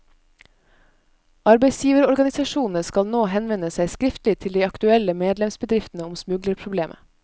Arbeidsgiverorganisasjonene skal nå henvende seg skriftlig til de aktuelle medlemsbedriftene om smuglerproblemet.